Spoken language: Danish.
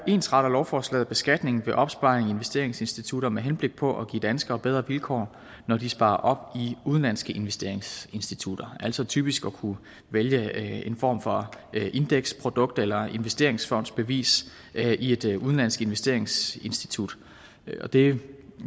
ensretter lovforslaget beskatningen ved opsparing i investeringsinstitutter med henblik på at give danskere bedre vilkår når de sparer op i udenlandske investeringsinstitutter altså typisk at kunne vælge en form for indeksprodukt eller investeringsfondsbevis i et udenlandsk investeringsinstitut det